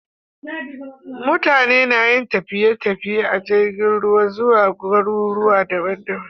Mutane nayin tafiye tafiye a jirgin ruwa zuwa gurare daban daban